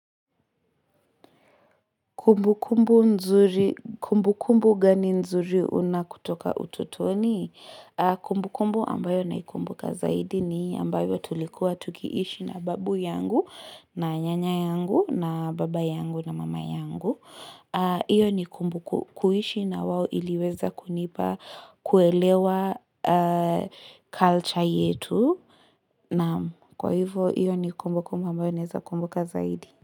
Kumbu kumbu gani nzuri una kutoka ututoni? Kumbu kumbu ambayo naikumbuka zaidi ni ambayo tulikuwa tukiishi na babu yangu, na nyanya yangu, na baba yangu, na mama yangu. Iyo ni kumbu kuhishi na wawo iliweza kunipa kuelewa culture yetu. Kwa hivyo, iyo ni kumbu kumbu ambayo naezakumbuka zaidi.